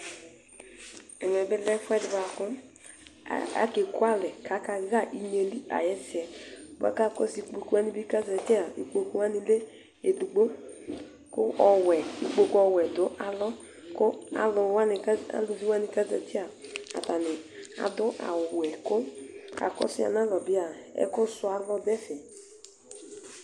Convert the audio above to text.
Ɛvɛbi lɛ ɛfʋedi kʋ akekʋ alɛ kʋ akaxa inyeli ayʋ ɛsɛ Bʋakʋ akɔ ikpokʋ wani bi kʋ ezati aa ikpokʋ wani bi edigbo kʋ ɔwɛ dʋ alɔ kʋ alʋwani kʋ ezatia atani adʋ ɔwɛ kʋ akɔsʋ yanʋ alɔ bi aa ɛkʋsʋ alɔ dʋ ɛfɛ